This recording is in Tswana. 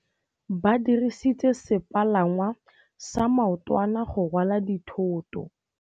Ba dirisitse sepalangwasa maotwana go rwala dithôtô.